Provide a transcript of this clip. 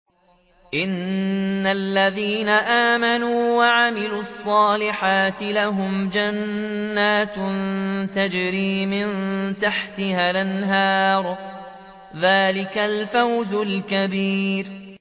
إِنَّ الَّذِينَ آمَنُوا وَعَمِلُوا الصَّالِحَاتِ لَهُمْ جَنَّاتٌ تَجْرِي مِن تَحْتِهَا الْأَنْهَارُ ۚ ذَٰلِكَ الْفَوْزُ الْكَبِيرُ